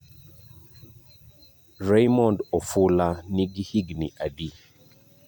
Raymond Ofula nigi higni adi?